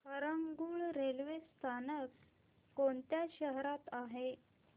Harangul railway स्थानक कोणत्या शहरात आहे